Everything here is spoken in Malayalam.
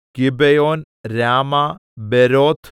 ഗിബെയോൻ രാമ ബെരോത്ത്